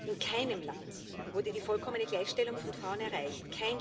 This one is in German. In keinem Land wurde die vollkommene Gleichstellung von Frauen erreicht.